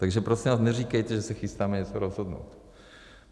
Tak prosím vás neříkejte, že se chystáme něco rozhodnout.